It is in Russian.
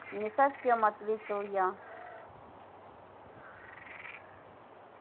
не совсем ответила я